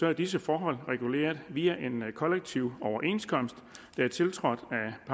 er disse forhold reguleret via en kollektiv overenskomst der er tiltrådt